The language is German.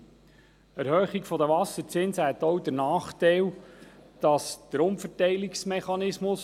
Eine Erhöhung der Wasserzinsen hätte auch den Nachteil, dass der Umverteilungsmechanismus noch zusätzlich verschärft würde;